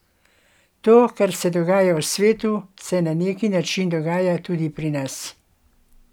To, kar se dogaja v svetu, se na neki način dogaja tudi pri nas.